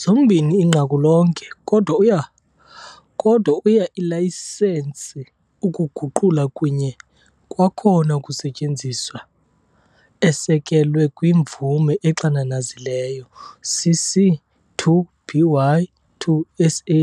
Zombini inqaku lonke, kodwa uya ilayisensi ukuguqulwa kunye kwakhona ukusetyenziswa-esekelwe kwi-mvume exananazileyo CC-BY-SA